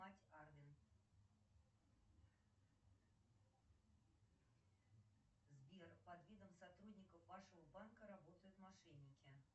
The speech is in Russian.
сбер под видом сотрудников вашего банка работают мошенники